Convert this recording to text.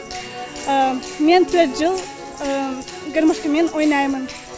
мен төрт жыл гармошкамен ойнаймын